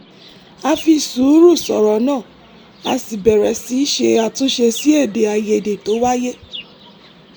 a fi sùúrù sọ̀rọ̀ náà a sì bẹ̀rẹ̀ sí ṣe àtúnṣe sí èdè àìyedè tó wáyè